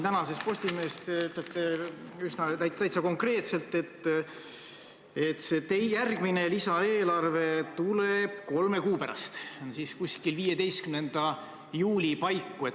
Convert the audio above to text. Tänases Postimehes te ütlete konkreetselt, et see järgmine lisaeelarve tuleb kolme kuu pärast, seega 15. juuli paiku.